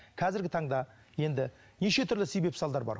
қазіргі таңда енді неше түрлі себеп салдар бар